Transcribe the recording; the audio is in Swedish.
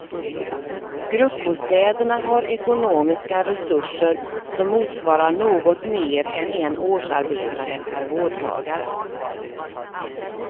Gruppbostäderna har ekonomiska resurser som motsvarar något mer än en årsarbetare per vårdtagare.